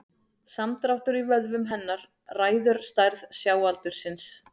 Samdráttur í vöðvum hennar ræður stærð sjáaldursins.